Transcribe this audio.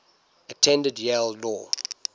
attended yale law